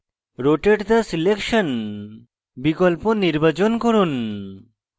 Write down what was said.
rotate the selection বিকল্প নির্বাচন করুন